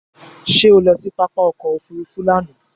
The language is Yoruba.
Ṣé o lọ sí pápá ọkò òfurufú ni àná?